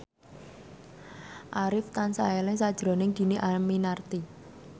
Arif tansah eling sakjroning Dhini Aminarti